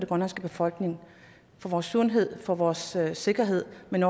grønlandske befolkning for vores sundhed for vores sikkerhed men